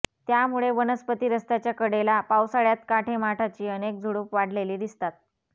त्यामुळे वनस्पती रस्त्याच्या कडेला पावसाळ्यात काटेमाठाची अनेक झुडूप वाढलेली दिसतात